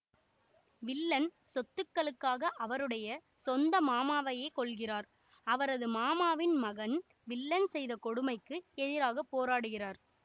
villain சொத்துக்களுக்காக அவருடைய சொந்த மாமாவையே கொல்கிறார் அவரது மாமாவின் மகன் வில்லன் செய்த கொடுமைக்கு எதிராக போராடுகிறார்